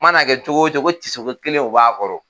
Mana kɛ cogo o cogo ko tisoko kelen o b'a kɔrɔ